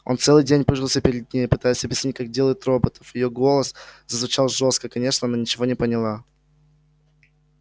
он целый день пыжился перед ней пытаясь объяснить как делают роботов её голос зазвучал жёстко конечно она ничего не поняла